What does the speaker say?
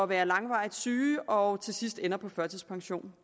være langvarigt syge og til sidst ender på førtidspension